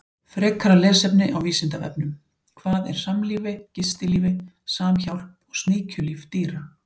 Frekara lesefni á Vísindavefnum: Hvað er samlífi, gistilífi, samhjálp og sníkjulíf dýra?